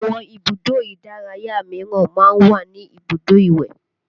Àwọn ibùdó ìdárayá míràn máa ń ní ibùdó ìwẹ̀